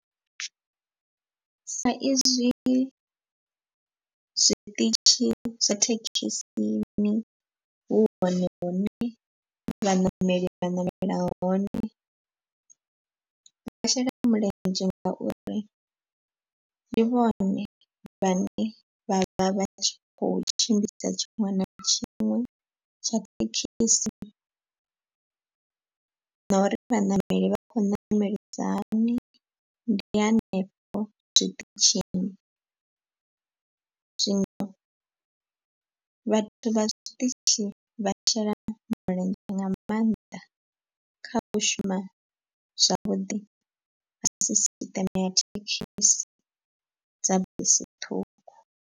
Sa izwi zwiṱitshi zwa thekhisini hu hone hune vhaṋameli vha ṋamela hone. Vha shela mulenzhe ngauri ndi vhone vhane vha vha vha tshi kho tshimbidza tshiṅwe na tshiṅwe tsha thekhisi. Na uri vhaṋameli vha khou ṋamelisa hani ndi hanefho zwiṱitshini. Zwino vhathu vha tshiṱitshi vha shela mulenzhe nga maanḓa kha u shuma zwavhuḓi ha sisiṱeme ya thekhisi dza bisi ṱhukhu.